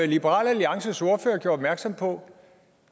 liberal alliances ordfører gjorde opmærksom på